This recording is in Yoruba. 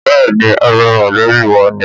Bẹ́ẹ̀ni ,ara mọlẹbi wà ni.